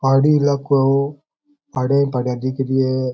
पहाड़ी इलाकों है यो पहाड़ी पहाड़ी दिख रि है।